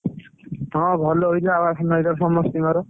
ହଁ ଭଲ ହେଇଥିଲା ବା ଧାନ ଏଇଥର ସମସ୍ତିଙ୍କର।